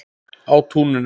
Á túninu.